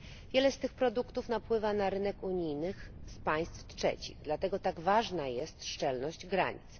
Wiele z tych produktów napływa na rynek unijny z państw trzecich, dlatego tak ważna jest szczelność granic.